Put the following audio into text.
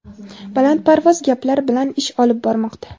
balandparvoz gaplar bilan ish olib bormoqda.